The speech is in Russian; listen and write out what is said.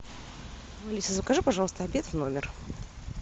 алиса закажи пожалуйста обед в номер